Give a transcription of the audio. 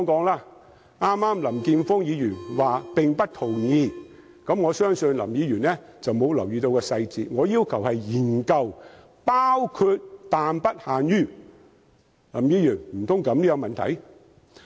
林健鋒議員剛才說不同意我的修正案，我相信林議員沒有留意細節，我要求的是研究"包括但不限於"，難道這樣也有問題嗎？